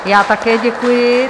Já také děkuji.